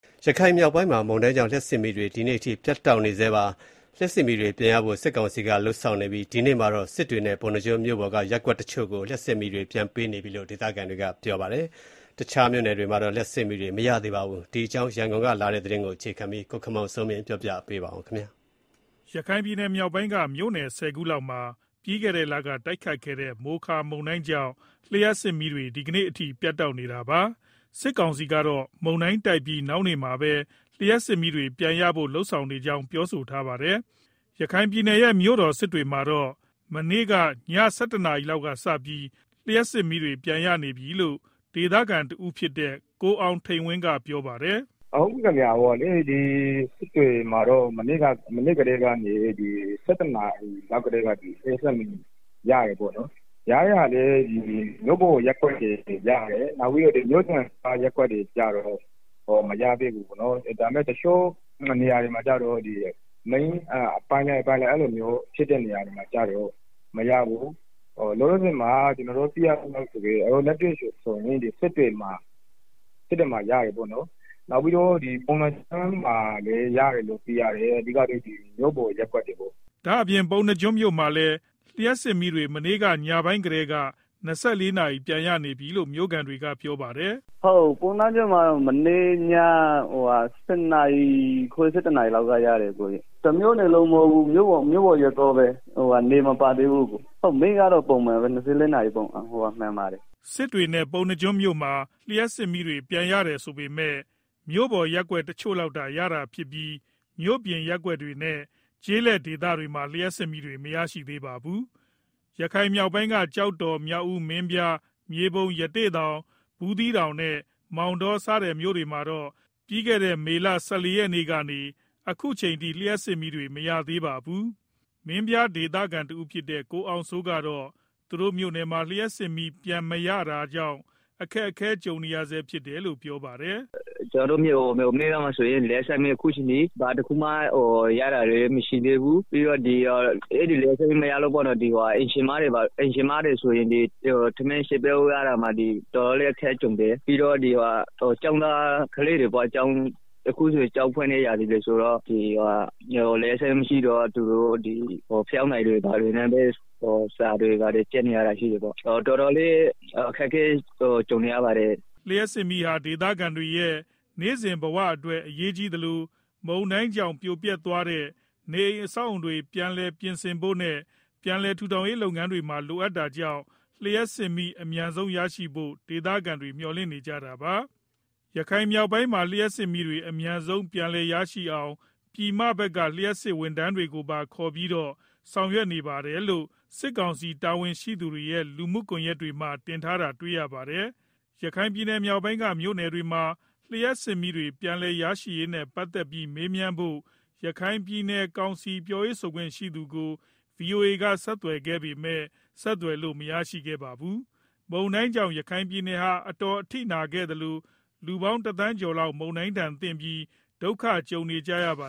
ရခိုင်မြောက်ပိုင်းမှာ မုန်တိုင်းကြောင့် လျှပ်စစ်မီးတွေ ဒီကနေ့အထိ ပြတ်တောက်နေဆဲပါ။ လျှပ်စစ်မီးတွေပြန်ရဖို့ စစ်ကောင်စီက လုပ်ဆောင်နေပြီး ဒီကနေ့ မှာတော့ စစ်တွေနဲ့ ပုဏ္ဏားကျွန်းမြို့ပေါ် က ရပ်ကွက်တချို့ကို လျှပ်စစ်မီးတွေ ပြန်ပေးနေပြီလို့ ဒေသခံတွေက ပြောပါတယ်။ တခြားမြို့နယ်တွေမှာတော့ လျှပ်စစ်မီးတွေ မရသေးပါဘူး။ ဒီအကြောင်း ရန်ကုန်ကလာတဲ့ သတင်းကို အခြေခံပြီး ကိုခင်မောင်စိုးမင်းက တင်ပြပေးပါမယ်။ ရခိုင်မြောက်ပိုင်းက မြို့နယ် ၁၀ ခုလောက်မှာ ပြီးခဲ့တဲ့လက တိုတ်ခတ်ခဲ့တဲ့ မိုခါ မုန်တိုင်းကြောင့် လျှပ်စစ်မီးတွေ ဒီကနေ့အထိ ပြတ်တောက်နေတာပါ။ စစ်ကောင်စီကတော့ မုန်တိုင်းတိုက်ပြီး နောက်နေ့မှာပဲ လျှပ်စစ်မီးတွေပြန်ရဖို့ လုပ်ဆောင်နေကြောင်း ပြောဆိုထားပါတယ်။ ရခိုင်ပြည်နယ်ရဲ့ မြို့တော် စစ်တွေမြို့မှာတော့ မနေ့ကည ၁၁နာရီလောက်စပြီး လျှပ်စစ်မီးတွေ ပြန်ရပြီလို့ ဒေသခံတဦးဖြစ်တဲ့ ကိုအောင်ထိန်ဝင်းက ပြောပါတယ်။ “စစ်တွေမှာတော့ မနေ့က ည၁၁နာရီလောက်ကနေ လျှပ်စစ်မီးရတယ်ပေါ့နော်၊ ရတဲ့ဟာလည်း မြို့ပေါ်ရပ်ကွက်တွေရတယ်၊ နောက်ပြီးတော့ မြို့ပြင်ရပ်ကွက်တွေကတော့ မရသေးဘူး။ ဒါပေမယ့် တချို့နေရာတွေမှာလည်း မရသေးဘူး၊ လောလောဆယ်ကျနော်တို့ သိရသလောက် စစ်တွေနဲ့ ပုဏ္ဏားကျွန်းမှာ ရတယ်လို့သိရပါတယ်။ အဓိက မြို့ပေါ်ရပ်ကွက်တွေပေါ့။” ဒါ့အပြင် ပုဏ္ဏားကျွန်းမြို့မှာလည်း လျှပ်စစ်မီးတွေ မနေ့က ညနေပိုင်းကတည်းက ၂၄နာရီ ပြန်ရနေပြီလို့ မြို့ခံတဦးကပြောပါတယ်။ “ပုဏ္ဏားကျွန်းမှာတော့ မနေ့က ၁၀နာရီ ၁၁နာရီလောက် ရတယ်။ တမြို့နယ်လုံးမဟုတ်ဘူး။ မြို့ပေါ်ရပ်ကွက်တွေလောက်ပဲရတာ။ မီးကတော့ ပုံမှန်ပါပဲ၊ ၂၄နာရီ မှန်ပါတယ် ဟုတ်။” စစ်တွေနဲ့ ပုဏ္ဏားကျွန်းမြို့မှာ လျှပ်စစ်မီးတွေ ပြန်ရတယ်ဆိုပေမယ့် မြို့ပေါ်ရပ်ကွက်တချို့ လောက်သာ ရရှိတာဖြစ်ပြီး မြို့ပြင်ရပ်ကွက်တွေနဲ့ ကျေးလက်ဒေသတွေမှာ လျှပ်စစ်မီးတွေ မရရှိသေးပါဘူး။ ရခိုင်မြောက်ပိုင်းက ကျောက်တော်၊ မြောက်ဦး၊ မင်းပြား၊ မြေပုံ၊ ရသေ့တောင်၊ ဘူးသီးတောင်နဲ့ မောင်တော စတဲ့ မြို့နယ်တွေမှာတော့ ပြီးခဲ့တဲ့ မေလ ၁၄ရက်နေ့ကနေ အခုအချိန်ထိ လျှပ်စစ်မီးတွေ မရရှိသေးပါဘူး။ မင်းပြားဒေသခံတဦးဖြစ်တဲ့ ကိုအောင်စိုးကတော့ သူတို့မြို့နယ်မှာ လျှပ်စစ်မီးပြန်မရတာကြောင့် အခက်ကြုံနေရဆဲဖြစ်တယ်လို့ ပြောပါတယ်။ “ကျနော်တို့ မင်းပြားမှာဆိုရင် အခုအချိန်ထိ လျှပ်စစ်မီး အခုအချိန်ထိ ဘာတခုမှ ရတာမရှိ သေးဘူး။ အဲဒီ လျပ်စစ်မီးမရလို့ အိမ်ရှင်မတွေ ဘာတွေဆိုရင် ချက်ပြုတ်ဖို့ အတော် အခက်ကြုံရတယ်။ ကျောင်းသူကျောင်းသားတွေ ဆိုရင်လည်း လျပ်စစ်မီးမရှိတော့ ဖယောင်းတိုင်တွေနဲ့ စာကျက်နေရတယ်။ တော်တော်လေး အခက်အခဲကြုံနေရပါတယ်။” လျှပ်စစ်မီးဟာ ဒေသခံတွေရဲ့ နေ့စဉ်ဘဝအတွက် အရေးကြီးသလို မုန်တိုင်းကြောင့် ပြိုပျက်သွားတဲ့ နေအိမ်အဆောင်အဦးတွေ ပြန်လည် ပြင်ဆင်ဖို့နဲ့ ပြန်လည်ထူထောင်ရေး လုပ်ငန်းမှာ လိုအပ်တာကြောင့် လျှပ်စစ်မီးအမြန်ဆုံးရရှိဖို့ ဒေသခံတွေ မျှော်လင့်နေကြတာပါ။ ရခိုင်မြောက်ပိုင်းမှာ လျှပ်စစ်မီးတွေ အမြန်ဆုံးပြန်လည်ရရှိအောင် ပြည်မဖက်က လျှပ်စစ် ဝန်ထမ်းတွေကိုပါခေါပြီးတော့ ဆောင်ရွက်နေတယ်လို့ စစ်ကောင်စီ တာဝန်ရှိသူတွေရဲ့ လူမှုကွန်ယက်တွေပေါ်မှာ တင်ထားတာတွေ့ရပါတယ်။ ရခိုင်မြောက်ပိုင်းက မြို့နယ်တွေမှာ လျှပ်စစ်မီးတွေ ပြန်လည်ရရှိရေးနဲ့ ပတ်သတ်ပြီး မေးမြန်းဖို့ ရခိုင်ပြည်နယ်ကောင်စီပြောခွင့်ရသူကို ဗွီအိုအေက ဆက်သွယ်ခဲ့ပေမယ့် ဆက်သွယ်လို့ မရရှိခဲ့ပါဘူး။ မုန်တိုင်းကြောင့် ရခိုင်ပြည်နယ်ဟာ အတော်အထိနာခဲ့သလို လူပေါင်း တသန်းကျော်လောက် မုန်တိုင်းဒဏ်သင့်ပြီး ဒုက္ခကြုံနေရတာပါ